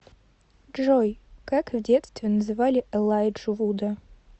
джой как в детстве называли элайджу вуда